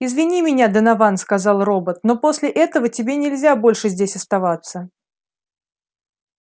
извини меня донован сказал робот но после этого тебе нельзя больше здесь оставаться